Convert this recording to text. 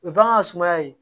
O ye bagan sumaya ye